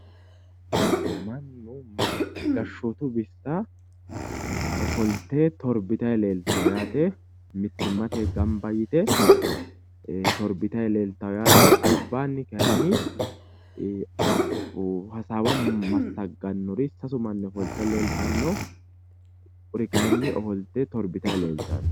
Gashshootu bissa ofollite torbitanni leellittanno yaate. Mittimmatenni gamba yite torbitanni leeltanno yaate albaanni kaayinni silsaawa massaggannori sasu manni ofolte leeltanno kuri kaayiinni torbitanni leeltanno.